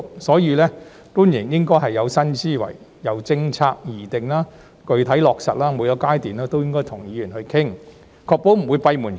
所以，官員應該有新思維，由政策的擬定到具體落實，每個階段都應跟議員商討，確保不會閉門造車。